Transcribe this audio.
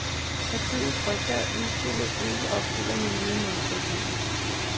Partiet frygter, at udspillet ikke opfylder miljømålsætningen.